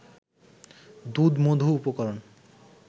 দুধ-মধু উপকরণ